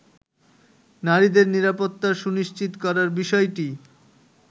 নারীদের নিরাপত্তা সুনিশ্চিত করার বিষয়টি